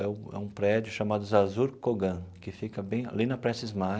É um prédio chamado Zarzur Kogan, que fica bem ali na Prestes Maia.